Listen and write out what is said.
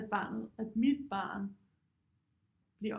At barnet at mit barn bliver